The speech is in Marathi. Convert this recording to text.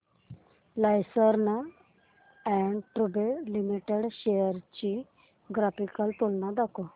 लार्सन अँड टुर्बो लिमिटेड शेअर्स ची ग्राफिकल तुलना दाखव